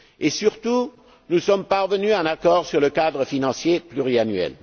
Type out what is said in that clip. Et, surtout, nous sommes parvenus à un accord sur le cadre financier pluriannuel.